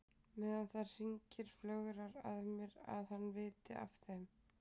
Meðan það hringir flögrar að mér að hann viti af þeim.